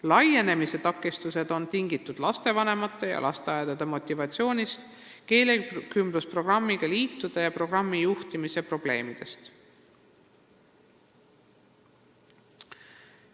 Laienemise takistused on tingitud lapsevanemate ja lasteaedade motivatsiooniprobleemidest ning keelekümblusprogrammi liidu ja programmi juhtimise probleemidest.